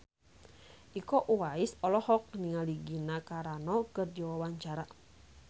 Iko Uwais olohok ningali Gina Carano keur diwawancara